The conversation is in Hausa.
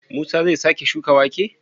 Musa zai sake shuka wake?